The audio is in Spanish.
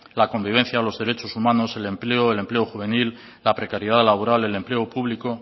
la convivencia los derechos humanos el empleo el empleo juvenil la precariedad laboral el empleo público